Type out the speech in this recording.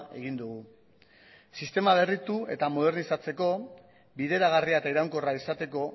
egin dugu sistema berritu eta modernizatzeko bideragarria eta iraunkorra izateko